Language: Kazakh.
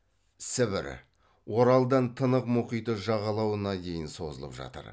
сібір оралдан тынық мұхиты жағалауына дейін созылып жатыр